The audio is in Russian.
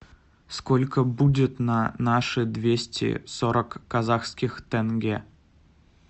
сколько будет на наши двести сорок казахских тенге